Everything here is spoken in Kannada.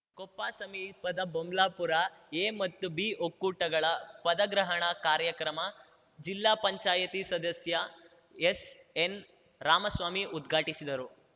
ಕೊಪ್ಪ ಸಮೀಪದ ಬೊಮ್ಲಾಪುರ ಎ ಮತ್ತು ಬಿ ಒಕ್ಕೂಟಗಳ ಪದಗ್ರಹಣ ಕಾರ್ಯಕ್ರಮ ಜಿಲ್ಲಾ ಪಂಚಾಯತಿ ಸದಸ್ಯ ಎಸ್‌ಎನ್‌ರಾಮಸ್ವಾಮಿ ಉದ್ಘಾಟಿಸಿದರು